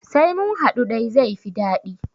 Sai munhaɗu dai zaifi daɗi